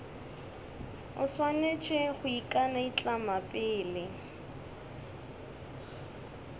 o swanetše go ikanaitlama pele